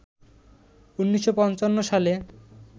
১৯৫৫ সালে